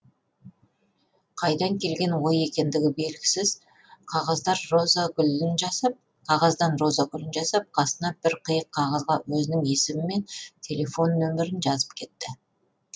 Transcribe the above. қайдан келген ой екендігі белгісіз қағаздан роза гүлін жасап қасына бір қиық қағазға өзінің есімі мен телефон нөмірін жазып кетті